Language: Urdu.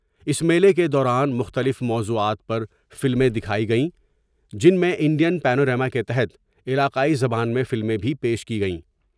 اس میلہ کے دوران مختلف موضوعات پرفلمیں دکھائی گئیں جن میں انڈین پینو راما کے تحت علاقائی زبان میں فلمیں بھی پیش کی گئیں ۔